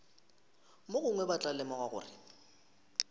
mogongwe ba tla lemoga gore